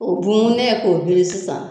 O bunbun ne ye k'o biri sisan